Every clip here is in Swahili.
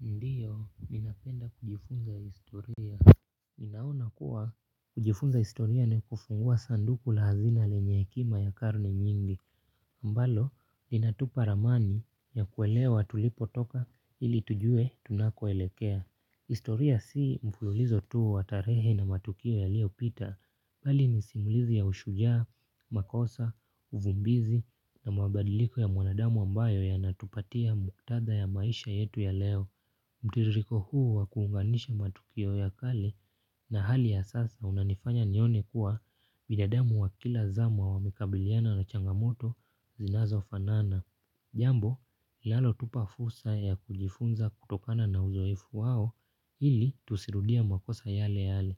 Ndio, ninapenda kujifunza historia. Ninaona kuwa, kujifunza historia ni kufungua sanduku la hazina lenye hekima ya karne nyingi. Ambalo, inatupa ramani ya kuelewa tulipotoka ili tujue tunakoelekea. Historia si mfululizo tu wa tarehe na matukio yaliyopita. Hali ni simulizi ya ushujaa, makosa, uvumbizi na mabadiliko ya mwanadamu ambayo yanatupatia muktadha ya maisha yetu ya leo. Mtiririko huu wa kuunganisha matukio ya kale na hali ya sasa unanifanya nione kuwa binadamu wa kila zama wamekabiliana na changamoto zinazofanana. Jambo, linalotupa fursa ya kujifunza kutokana na uzoefu wao ili tusirudie makosa yale yale.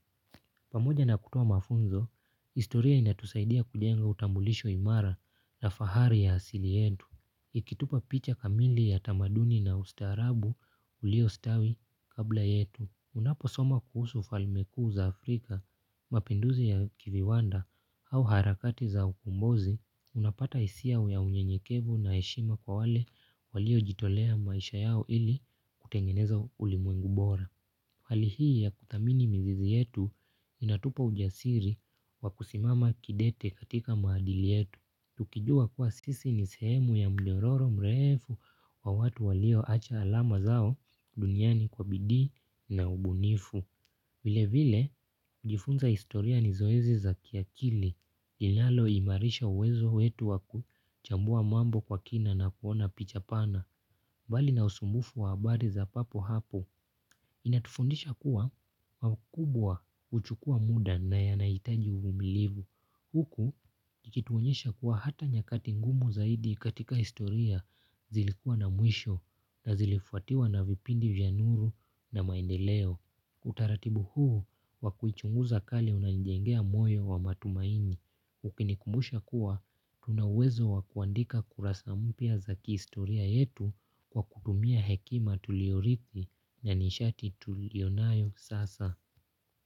Pamoja na kutoa mafunzo, historia inatusaidia kujenga utambulisho imara na fahari ya asili yetu. Ikitupa picha kamili ya tamaduni na ustaarabu uliostawi kabla yetu. Unaposoma kuhusu ufalme kuu za Afrika, mapinduzi ya kiviwanda au harakati za ukombozi, unapata hisia ya unyenyekevu na heshima kwa wale waliojitolea maisha yao ili kutengeneza ulimwengu bora. Hali hii ya kuthamini mizizi yetu, inatupa ujasiri wa kusimama kidete katika maadili yetu. Tukijua kuwa sisi ni sehemu ya mdororo mrefu wa watu walioacha alama zao duniani kwa bidii na ubunifu. Vilevile, kujifunza historia ni zoezi za kiakili. Linaloimarisha uwezo wetu wa kuchambua mambo kwa kina na kuona picha pana. Bali na usumbufu wa habari za papo hapo. Inatufundisha kuwa makubwa huchukua muda na yanahitaji uvumilivu. Huku ikituonyesha kuwa hata nyakati ngumu zaidi katika historia zilikuwa na mwisho na zilifuatiwa na vipindi vya nuru na maendeleo. Utaratibu huu wa kuichunguza karne unanijengea moyo wa matumaini. Ukinikumbusha kuwa, tuna uwezo wa kuandika kurasa mpya za kihistoria yetu kwa kutumia hekima tuliorithi na nishati tuliyonayo sasa.